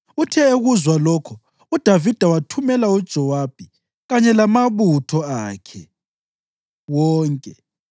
Uthe ekuzwa lokho, uDavida wathumela uJowabi kanye lamabutho akhe wonke.